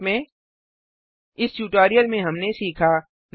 संक्षेप में इस ट्यूटोरियल में हमने सीखा